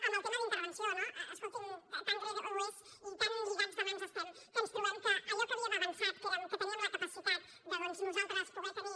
amb el tema d’intervenció no escolti’m tan greu és i tan lligats de mans estem que ens trobem que allò en què havíem avançat que era que teníem la capacitat de nosaltres poder tenir